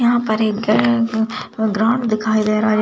यहां पर एक ग्राउंड दिखाई दे रहा है।